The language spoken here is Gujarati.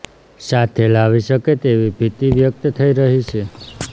સાથે લાવી શકે તેવી ભીતી વ્યક્ત થઈ રહી છે